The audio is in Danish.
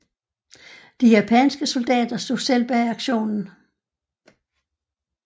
De japanske soldater stod selv bag aktionen